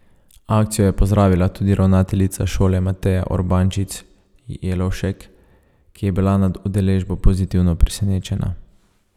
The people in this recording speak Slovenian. Akcijo je pozdravila tudi ravnateljica šole Mateja Urbančič Jelovšek, ki je bila nad udeležbo pozitivno presenečena.